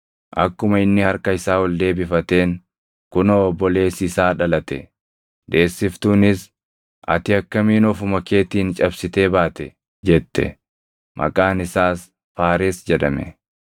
Akkuma inni harka isaa ol deebifateen kunoo obboleessi isaa dhalate; deessiftuunis, “Ati akkamiin ofuma keetiin cabsitee baate?” jette. Maqaan isaas Faares jedhame.